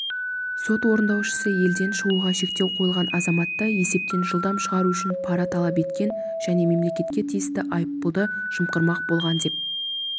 сот орындаушысы елден шығуға шектеу қойылған азаматты есептен жылдам шығару үшін пара талап еткен және мемлекетке тиісті айыппұлды жымқырмақ болған деп